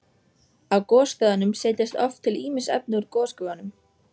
Á gosstöðvunum setjast oft til ýmis efni úr gosgufunum.